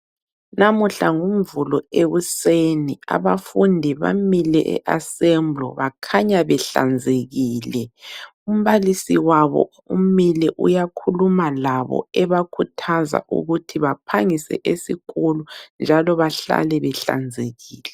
Namuhla ngumvulo ekuseni abafundi bamile eAssembly bakhanya behlanzekile . Umbalisi wabo umile uyakhuluma labo ebakhuthaza ukuthi baphangise esikolo njalo behlale behlanzekile.